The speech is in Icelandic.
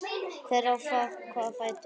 Hver á hvaða fætur?